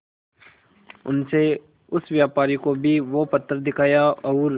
उनसे उस व्यापारी को भी वो पत्थर दिखाया और